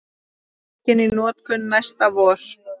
Tekin í notkun næsta vor